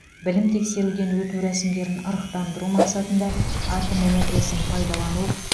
білім тексеруден өту рәсімдерін ырықтандыру мақсатында атом энергиясын пайдалану